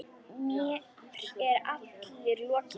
Mér er allri lokið.